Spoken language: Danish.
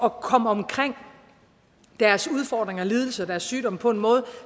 at komme omkring deres udfordringer og lidelser deres sygdom på en måde